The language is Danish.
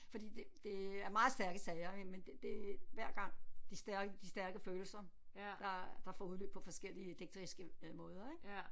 Fordi det det er meget stærke sager men det det hver gang de stærke de stærke følelser der der får udløb på forskellige digteriske måder ik